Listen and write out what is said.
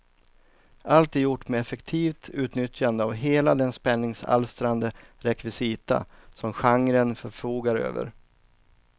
Allt är gjort med effektivt utnyttjande av hela den spänningsalstrande rekvisita som genren förfogar över.